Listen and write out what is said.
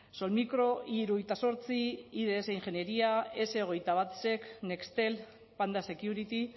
solmicro i hirurogeita zortzi ids ingenieria ese hogeita bat sec nextel panda security